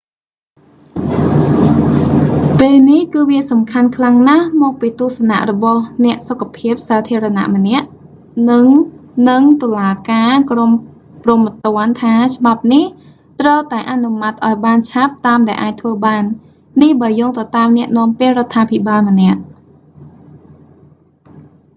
"ពេលនេះគឺវាសំខាន់ខ្លាំងណាស់មកពីទស្សនៈរបស់អ្នកសុខភាពសាធារណៈម្នាក់និងនិងតុលាការក្រមព្រហ្មទណ្ឌថាច្បាប់នេះត្រូវតែអនុម័តឱ្យបានឆាប់តាមដែលអាចធ្វើបាន នេះបើយោងទៅតាមអ្នកនាំពាក្យរដ្ឋាភិបាលម្នាក់។